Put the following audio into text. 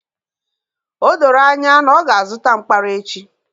O doro anya na ọ ga-azụta mkpara echi